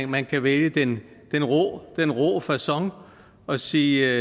man kan vælge den den rå facon og sige